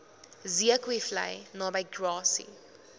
zeekoevlei naby grassy